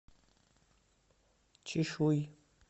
чишуй